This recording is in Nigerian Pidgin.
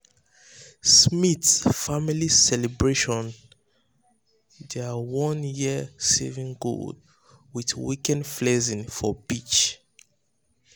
smith family celebrate their one-year savings goal with weekend flex for beach.